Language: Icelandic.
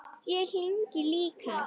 Ég þegi líka.